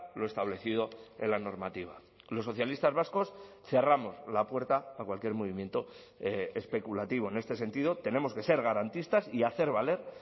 lo establecido en la normativa los socialistas vascos cerramos la puerta a cualquier movimiento especulativo en este sentido tenemos que ser garantistas y hacer valer